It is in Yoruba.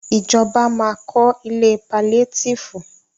Ìjọba ma kọ́ ilé paliétífù.